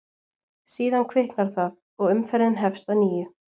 Síðan kviknar það og umferðin hefst að nýju.